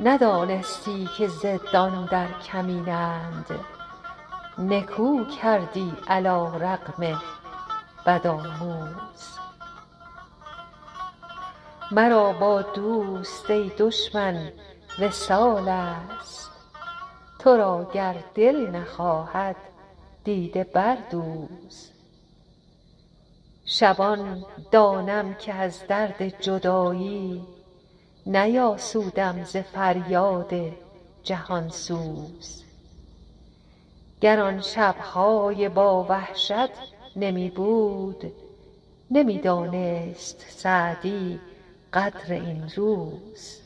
ندانستی که ضدان در کمینند نکو کردی علی رغم بدآموز مرا با دوست ای دشمن وصال است تو را گر دل نخواهد دیده بردوز شبان دانم که از درد جدایی نیاسودم ز فریاد جهان سوز گر آن شب های با وحشت نمی بود نمی دانست سعدی قدر این روز